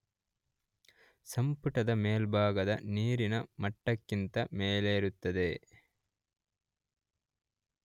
ಸಂಪುಟದ ಮೇಲ್ಭಾಗ ನೀರಿನ ಮಟ್ಟಕ್ಕಿಂತ ಮೇಲಿರುತ್ತದೆ.